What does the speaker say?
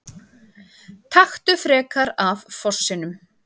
Taktu frekar af fossinum!